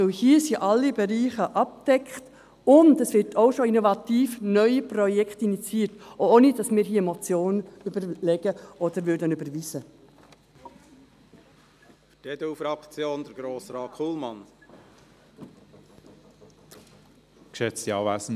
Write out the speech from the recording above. Denn hier sind alle Bereiche abgedeckt, und es werden auch schon innovative neue Projekte initiiert, auch ohne dass wir uns hier Gedanken zu einer Motion machen oder eine solche überweisen.